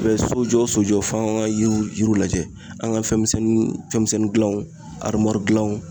U be ye sojɔ o sojɔ f'an kan an gan yiriw lajɛ an ga fɛn misɛnninw fɛnmisɛnniw dilanw arimuwari gilanw